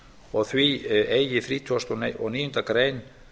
og því eigi þrítugasta og níundu grein